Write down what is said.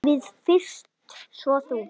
Við fyrst, svo þú.